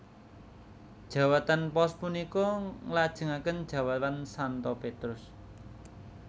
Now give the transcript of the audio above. Jawatan Paus punika nglajengaken jawatan Santo Petrus